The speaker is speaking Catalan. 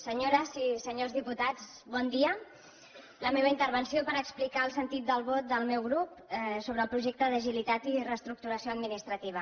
senyores i senyors diputats bon dia la meva intervenció és per explicar el sentit del vot del meu grup sobre el projecte d’agilitat i reestructuració administrativa